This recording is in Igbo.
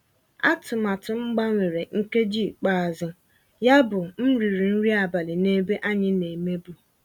Àtụ̀màtụ́ m gbanwèrà nkèjí íkpe àzụ́, yábụ́ m rị́rị́ nrí àbálị́ n'èbé ànyị́ ná-èmèbú.